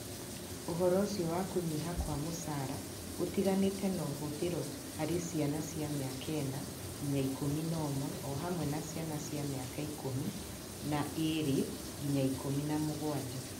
Ũhoro ũcio wa kũnyiha kwa mũcara gũtiganĩte nĩ ũhũthĩrĩtwo harĩ ciana cia mĩaka ĩna ngina ikũmi na ũmwe o hamwe na ciana cia mĩaka ikũmĩ na ĩĩrĩ ngĩna ikũmi na mũgwanja.